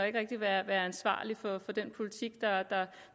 ikke rigtig være ansvarlig for den politik